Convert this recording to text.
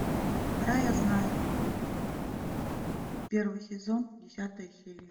рая знает первый сезон десятая серия